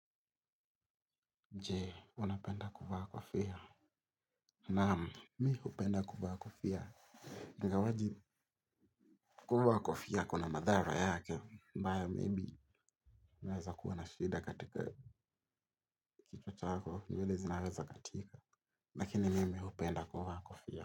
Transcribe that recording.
Je, unapenda kuvaa kofia. Naam, mi hupenda kuvaa kofia. Ingawaje kuvaa kofia kuna madhara yake. Mbaya maybe, unaweza kuwa na shida katika kichwa chako. Nywele zinaweza katika. Lakini mimi hupenda kuvaa kofia.